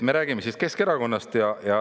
Me räägime siis Keskerakonnast.